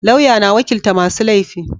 Lauya na wakilta masu laifi